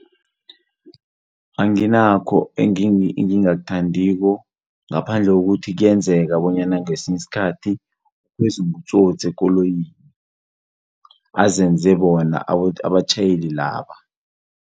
Anginakho engingakuthandiko ngaphandle kokuthi kuyenzeka bonyana ngesinye isikhathi beze ngobutsotsi ekoloyini. Bazenze bona abatjhayeli laba.